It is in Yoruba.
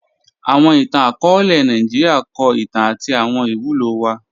Awọn ìtàn-akọọlẹ Nàìjíríà kọ ìtàn àti awọn ìwúlò wa